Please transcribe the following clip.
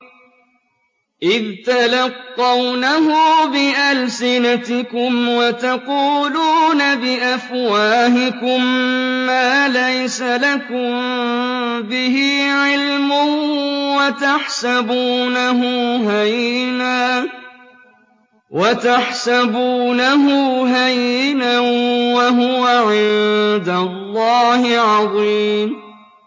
إِذْ تَلَقَّوْنَهُ بِأَلْسِنَتِكُمْ وَتَقُولُونَ بِأَفْوَاهِكُم مَّا لَيْسَ لَكُم بِهِ عِلْمٌ وَتَحْسَبُونَهُ هَيِّنًا وَهُوَ عِندَ اللَّهِ عَظِيمٌ